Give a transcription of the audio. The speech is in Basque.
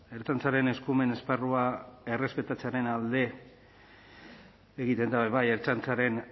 ertzaintzaren eskumen esparrua errespetatzearen alde egiten da be bai ertzaintzaren